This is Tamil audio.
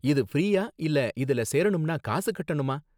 இது ஃப்ரீயா இல்ல இதுல சேரணும்னா காசு கட்டணுமா?